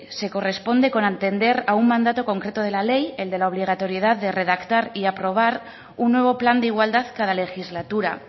se corresponde con atender a un mandato concreto de la ley el de la obligatoriedad de redactar y aprobar un nuevo plan de igualdad cada legislatura